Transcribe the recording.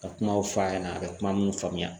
Ka kumaw fɔ a ɲɛna a bɛ kuma minnu faamuya